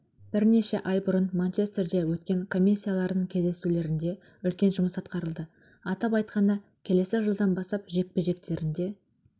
бірнеше ай бұрын манчестерде өткен комиссияларының кездесулерінде үлкен жұмыс атқарылды атап айтқанда келесі жылдан бастап жекпе-жектерінде